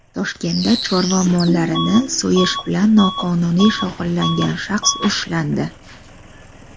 Toshkentda chorva mollarini so‘yish bilan noqonuniy shug‘ullangan shaxs ushlandi.